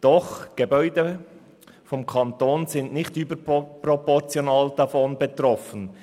Doch Gebäude vom Kanton sind nicht überproportional davon betroffen.